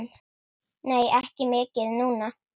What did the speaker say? Nei, ekki mikið núna.